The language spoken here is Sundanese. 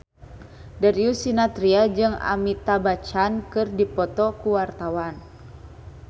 Darius Sinathrya jeung Amitabh Bachchan keur dipoto ku wartawan